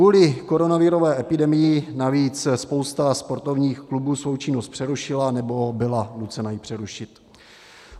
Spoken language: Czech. Kvůli koronavirové epidemii navíc spousta sportovních klubů svou činnost přerušila, nebo byla nucena ji přerušit.